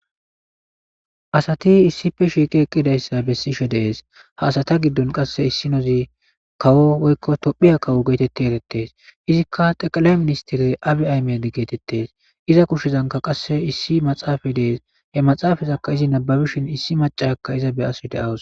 asati issife shiiqi eqqidayssa bessishe dees ha asata giddon qasse issinozi kawo woykko tophiya kawo geetetti erettees izikka teqala ministirey abi aymedi geetettees iza kushshezanka qasse issi maxaafa dees he maxaafazakka izi nababishin issi macaka iza be aso de7awus